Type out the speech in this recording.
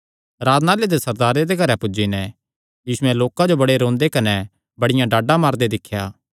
आराधनालय दे सरदारे दे घरैं पुज्जी नैं यीशुयैं लोकां जो बड़े रोंदे कने बड़ियां डाडा मारदे दिख्या